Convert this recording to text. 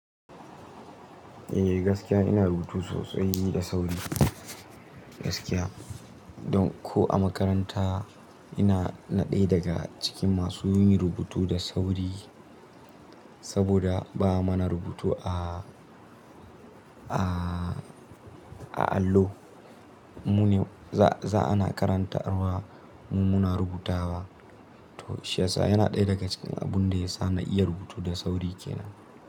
Eh gaskiya ina rubutu sosai da sauri gaskiya. Don ko a makaranta ina na ɗaya daga cikin masu yin rubutu da sauri saboda ba mana rubutu a, a, a allo. Mu ne za ana karantarwa mu muna rubutawa. To shi ya sa yana ɗaya daga cikin abun da ya sa na iya rubutu da sauri kenan.